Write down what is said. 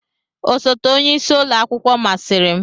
Osote onye isi ụlọ akwụkwọ masịrị m.